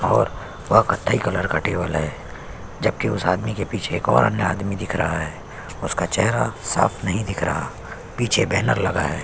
और व कतथई कलर का टेबल है जब की उस आदमी के पीछे एक और अंधा आदमी दिख रहा है उसका चेहरा साफ़ नहीं दिख रहा पीछे बैनर लगा है।